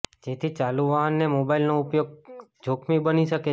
જેથી ચાલુ વાહનને મોબાઈલનો ઉપયોગ જોખમી બની શકે છે